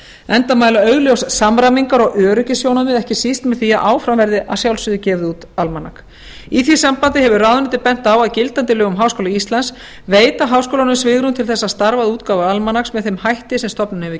enda mæla augljós samræmingar og öryggissjónarmið með því að áfram verði gefið út almanak í því sambandi hefur ráðuneytið bent á að gildandi lög um háskóla íslands veita svigrúm til þess að starfa að útgáfu almanaks með þeim hætti sem stofnunin hefur